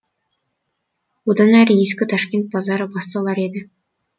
одан ары ескі ташкент базары басталар еді